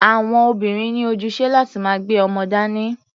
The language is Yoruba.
Àwọn obìnrin ní ojúṣe láti máa gbé ọmọ dání.